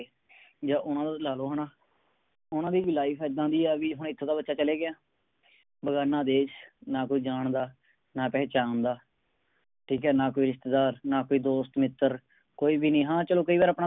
ਜਾ ਉਹਨਾਂ ਦਾ ਲਾ ਲਓ ਹੈ ਨਾ ਓਹਨਾ ਦੀ ਵੀ Life ਇੱਦਾ ਦੀ ਆ ਵੀ ਹੁਣ ਐਥੋਂ ਤਾ ਬੱਚਾ ਚਲੇ ਗਿਆ ਬੇਗਾਨਾ ਦੇਸ਼ ਨਾ ਕੋਈ ਜਾਣਦਾ ਨਾ ਪਹਿਚਾਣਦਾ ਠੀਕ ਹੈ ਨਾ ਕੋਈ ਰਿਸ਼ਤੇਦਾਰ ਨਾ ਕੋਈ ਦੋਸਤ ਮਿੱਤਰ ਕੋਈ ਵੀ ਨਹੀਂ ਹਾਂ ਚਲੋ ਕਈ ਵਾਰ ਆਪਣਾ